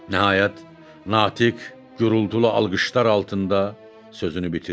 Nəhayət, Natiq gurultulu alqışlar altında sözünü bitirdi.